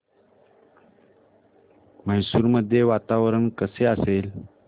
मैसूर मध्ये वातावरण कसे असेल